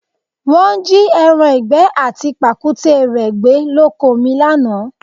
Wọ́n jí ẹran ìgbẹ́ àti pàkúté rẹ gbé lóko mi lánàá